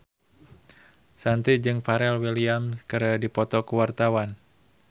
Shanti jeung Pharrell Williams keur dipoto ku wartawan